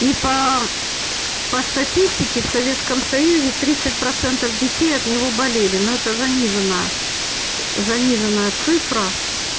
и по по статистике в советском союзе тридцать процентов детей от него болели но это заниженная заниженная цифра